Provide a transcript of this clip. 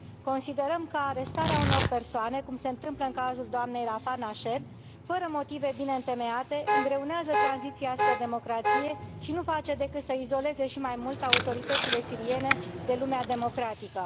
Considerăm că arestarea unor persoane, cum se întâmplă în cazul doamnei Rafah Nached, fără motive bine întemeiate, îngreunează tranziția spre democrație și nu face decât să izoleze și mai mult autoritățile siriene de lumea democratică.